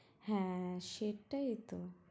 হ্যাঁ সেটাই তো